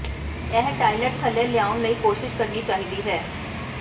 ਇਹ ਟਾਇਲਟ ਥੱਲੇ ਲਿਆਉਣ ਲਈ ਕੋਸ਼ਿਸ਼ ਕਰਨੀ ਚਾਹੀਦੀ ਹੈ